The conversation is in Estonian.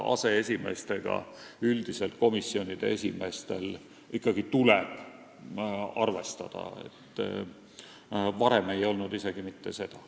Aseesimeestega tuleb komisjonide esimeestel üldiselt ikkagi arvestada, varem ei olnud isegi mitte seda.